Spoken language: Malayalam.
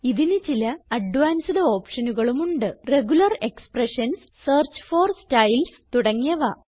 ഇതിന് ചില അഡ്വാൻസ്ഡ് ഓപ്ഷനുകളുമുണ്ട് regular expressions search for styles തുടങ്ങിയവ